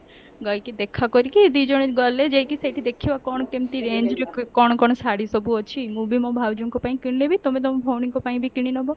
ଯାଇକି ଦେଖା କରିକି ଦିଜଣ ଗଲେ ଯାଇକି ସେଠି ଦେଖିବା କଣ କେମିତି range ରେ କଣ କଣ ଶାଢୀ ସବୁ ଅଛି ମୁଁ ବି ମୋ ଭାଉଜଙ୍କ ପାଇଁ କିଣିଲେ ବି ତମେ ତମ ଭଉଣୀ ଙ୍କ ପାଇଁ ବି କିଣିନବ